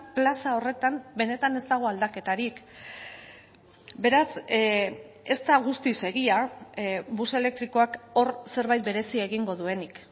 plaza horretan benetan ez dago aldaketarik beraz ez da guztiz egia bus elektrikoak hor zerbait berezia egingo duenik